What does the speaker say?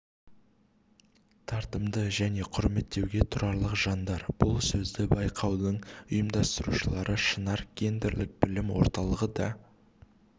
тартымды және құрметтеуге тұрарлық жандар бұл сөзді байқаудың ұйымдастырушылары шынар гендерлік білім орталығы да